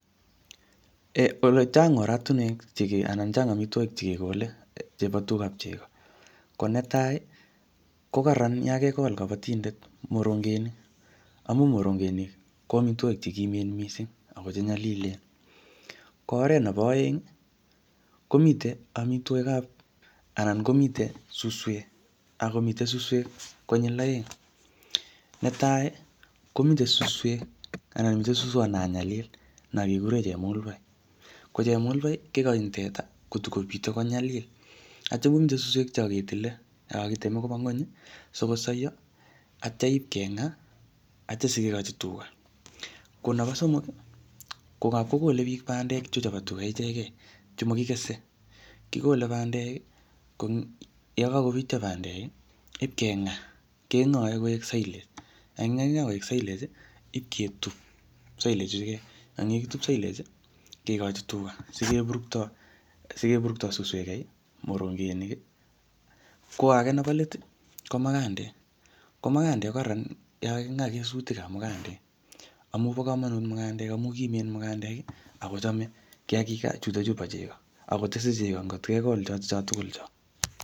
Chang' oratinuek ala chang' omitwogik chegekole chebo tugab chego, ko netai ii kokaran yan kegol kobitindet morongenik amun morongenik ko omitwogik chegimen mising ako chenyolilen, ko oret nebo oeng komiten omitwogik ab anan komiten suswek konyil oeng, netai komiten suswek anan suswot nanyalil nong'ekuren chemulbai, ko chemulbai kegoin teta kotagomiten konyalil ak kitya inde suswek sikosoiyo ak kitya iib keng'aa sikikoji tuga, ko nebo somok ii ko anakogole biik bandek chebo tuga ichegen chemokigese, kigole bandek ii yekokobityo banndek ii keib keng'aa, keng'oe koik silage, yon karing'aa koik silage keib ketub silage ichutet, yekaketub silage kegichi tuga sigeburto sikegei, morongenik, ko age nebo leet ii ko magandek, ko marandek ko kararan yan kaging'aa kesutik ab mugandek amun bo kamonut mugandek, amun kimen mugandek ako chome kiagik chuton bo chego akotese chego ng'ot kegol choton cho tugul cho.